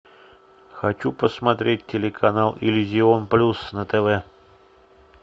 хочу посмотреть телеканал иллюзион плюс на тв